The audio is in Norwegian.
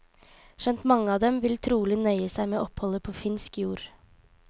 Skjønt mange av dem vil trolig nøye seg med oppholdet på finsk jord.